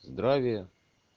здравия